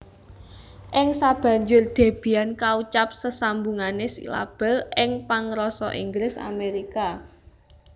Ing sabanjur Debian kaucap sesambungané silabel ingpangrasa Inggris Amerika